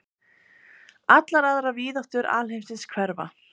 Allar aðrar víðáttur alheimsins hverfa.